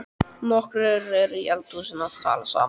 Nokkrir eru í eldhúsinu að tala saman.